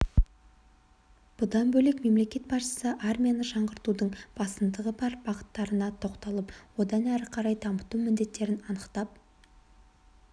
бұдан бөлек мемлекет басшысы армияны жаңғыртудың басымдығы бар бағыттарына тоқталып оны әрі қарай дамыту міндеттерін анықтап